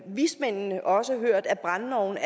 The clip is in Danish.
vismændene også hørt at brændeovne